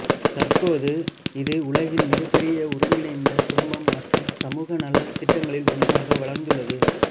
தற்போது இது உலகின் மிகப்பெரிய ஒருங்கிணைந்த குடும்பம் மற்றும் சமூகநலத் திட்டங்களில் ஒன்றாக வளர்ந்துள்ளது